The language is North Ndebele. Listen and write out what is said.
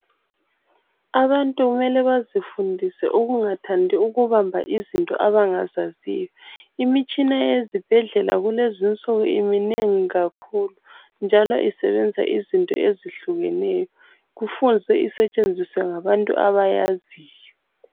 Abantu kumele bazifundise ukungathandi ukubamba izinto abangazaziyo, imitshina ezibhedlela kulezinsuku iminengi kakhulu, njalo isebenza izinto ezihlukeneyo kufuze isetshenziswe ngabantu abayaziyo.